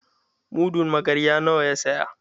Mudun magarya nawa ya saya?